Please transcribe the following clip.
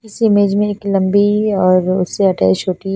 इस इमेज में एक लम्बी अ उसे अटैच होती--